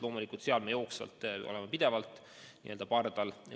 Loomulikult seal me jooksvalt oleme pidevalt n-ö pardal.